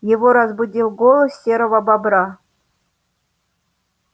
его разбудил голос серого бобра